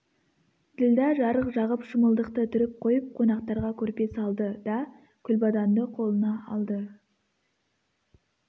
ділдә жарық жағып шымылдықты түріп қойып қонақтарға көрпе салды да күлбаданды қолына алды